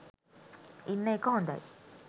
ඉන්න එක හොඳයි.